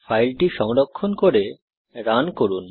ফাইলটি সংরক্ষণ করে রান করুন